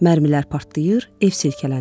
Mərmilər partlayır, ev silkələnirdi.